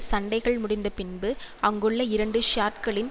சண்டைகள் முடிந்த பின்பு அங்குள்ள இரண்டு ஷயாட்களின்